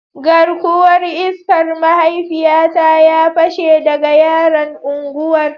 Garkuwar iskar mahaifiyata ya pashe daga yaran unguwar